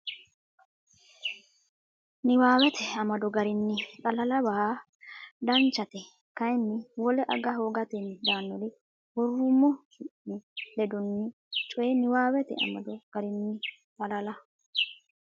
Niwaawete amado garinni xalala waa Danchate kayinni wole aga hoogatenni daannori worrummo su mi ledaanonni coy Niwaawete amado garinni xalala.